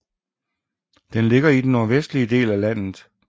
Den ligger i den nordvestlige del af landet